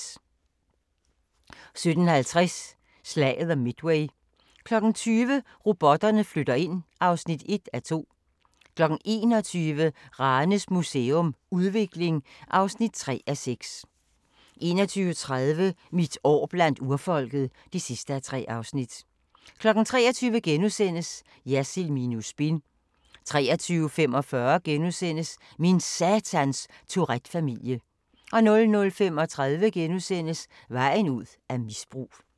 17:50: Slaget om Midway 20:00: Robotterne flytter ind (1:2) 21:00: Ranes Museum – Udvikling (3:6) 21:30: Mit år blandt urfolket (3:3) 23:00: Jersild minus spin * 23:45: Min satans Tourette-familie * 00:35: Vejen ud af misbrug *